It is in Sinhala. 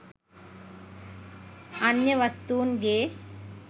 අන්‍ය වස්තූන් ගේ